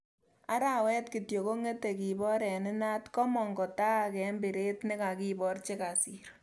Arawet kityo kongete kibor eng inaat kamong kotaak eng biret nekakibor che kasir